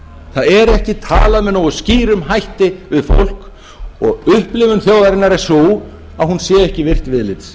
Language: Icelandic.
það er ekki talað með nógu skýrum hætti við fólk og upplifun þjóðarinnar er sú að hún sé ekki virt viðlits